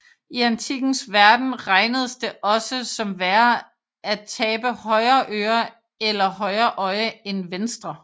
I antikkens verden regnedes det også som værre at tabe højre øre eller højre øje end venstre